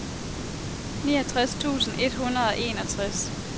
niogtres tusind et hundrede og enogtres